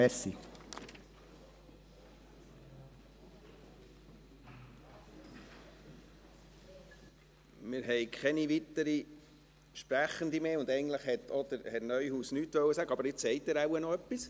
Wir haben keine weiteren Sprechenden mehr auf der Liste, und eigentlich wollte auch Herr Neuhaus nichts sagen, aber jetzt haben Sie wahrscheinlich noch etwas.